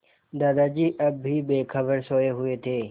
दादाजी अब भी बेखबर सोये हुए थे